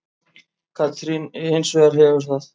Katrín hins vegar hefur það.